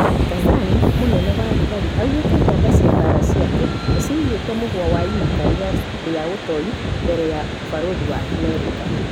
Tanzani:Munene wa thigari augĩte jamba cia mbara ciake nĩciraiguĩte mũhwa wa imakania ria ũtoi mbere ya ũbarothi wa Amerika